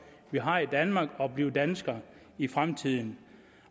vi har i danmark og blive dansker i fremtiden